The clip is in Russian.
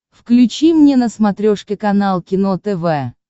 включи мне на смотрешке канал кино тв